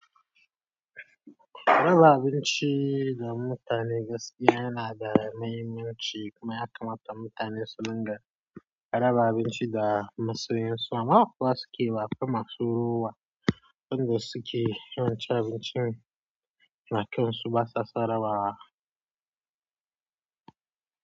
Raba abinci ga mutane gaskiya yana da mahimmanci kuma ya kamata mutane su dinga raba abinci ga masu yin so. Ama kowa suke baƙa masu ruwa, inda suke yawancin abincin da kai su basa sara bawa.